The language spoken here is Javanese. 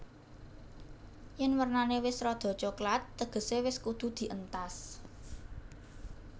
Yèn wernané wis rada coklat tegesé wis kudu dientas